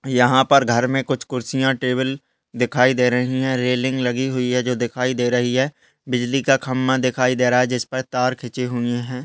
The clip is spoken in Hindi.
यहाँ पर घर मे कुछ कुर्सीयां टेबल दिखाई दे रही हैं रेलिंग लगी हुई है जो दिखाई दे रही है बिजली का खंबा दिखाई दे रहा है जिसपे तार खिचे हुए हैं।